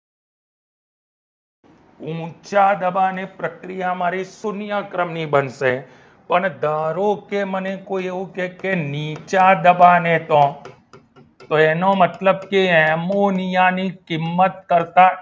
ઊંચા દબાણ ની પ્રક્રિયા મારી શૂન્ય ક્રમ ની બનશે અને ધારો કે મને કોઈ એવું કહે કે નીચા દબાણે પણ તો એનો મતલબ એ કે એમોનિયા ની કિંમત કરતા